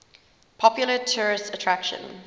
popular tourist attraction